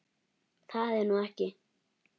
Það er nú ekki.